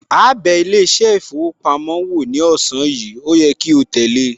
Áá bẹ ilé iṣẹ́ ìfowópamọ́ wo ní ọ̀sán yìí, ó yẹ kí o tẹ̀le